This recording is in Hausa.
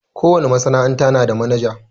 Ko wane masana'anta na da manaja.